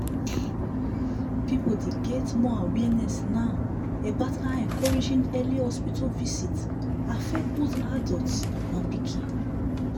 people dey get more awareness now about how encouraging early hospital visit affect both adults and pikin.